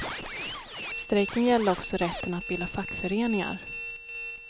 Strejken gällde också rätten att bilda fackföreningar.